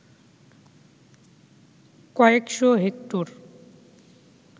কয়েকশ’ হেক্টর